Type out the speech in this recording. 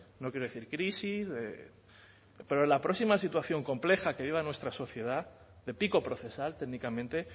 no quiero decir crisis pero en la próxima situación compleja que viva nuestra sociedad de pico procesal técnicamente